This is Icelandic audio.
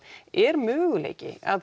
er möguleiki að